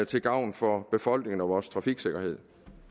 til gavn for befolkningen og vores trafiksikkerhed